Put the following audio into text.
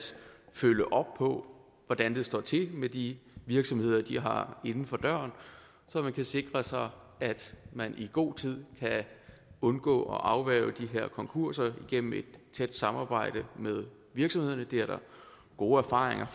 følge op på hvordan det står til med de virksomheder de har inden for døren så man kan sikre sig at man i god tid kan undgå og kan afværge de her konkurser gennem et tæt samarbejde med virksomhederne det er der gode erfaringer